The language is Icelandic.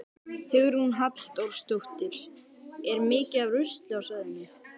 Hugrún Halldórsdóttir: Er mikið af rusli á svæðinu?